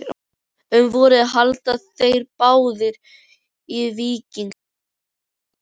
Um vorið héldu þeir báðir í víking en